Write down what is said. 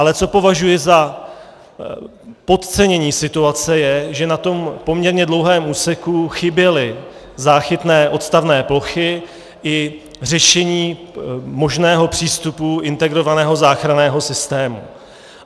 Ale co považuji za podcenění situace, je, že na tom poměrně dlouhém úseku chyběly záchytné odstavné plochy i řešení možného přístupu integrovaného záchranného systému.